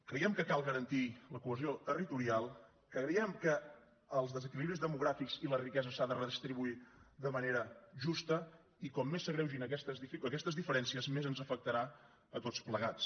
creiem que cal garantir la cohesió territorial creiem que els desequilibris demogràfics i la riquesa s’ha de redistribuir de manera justa i com més s’agreugin aquestes diferències més ens afectarà a tots plegats